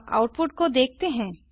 अब आउटपुट को देखते हैं